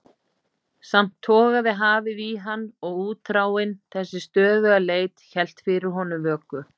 Samt togaði hafið í hann og útþráin, þessi stöðuga leit, hélt fyrir honum vöku.